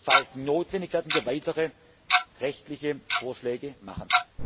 Falls notwendig, werden wir weitere rechtliche Vorschläge machen.